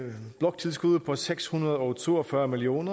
bloktilskuddet er på seks hundrede og to og fyrre million